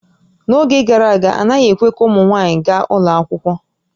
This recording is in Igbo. N'oge gara aga, a naghị ekwe ka ụmụ nwaanyị gaa ụlọ akwụkwọ